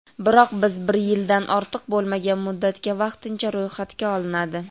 biroq bir yildan ortiq bo‘lmagan muddatga vaqtincha ro‘yxatga olinadi.